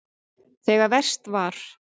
Þegar verst var.